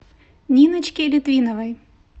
ниночке литвиновой